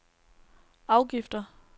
afgifter